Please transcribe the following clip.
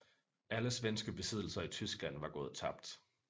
Alle svenske besiddelser i Tyskland var gået tabt